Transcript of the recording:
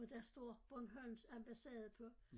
Hvor der står Bornholms ambassade på